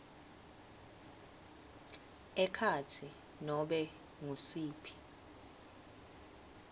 ekhatsi nobe ngusiphi